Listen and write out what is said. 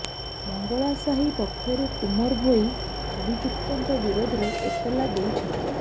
ମଙ୍ଗଳାସାହି ପକ୍ଷରୁ କୁମର ଭୋଇ ଅଭିଯୁକ୍ତଙ୍କ ବିରୋଧରେ ଏତଲା ଦେଇଛନ୍ତି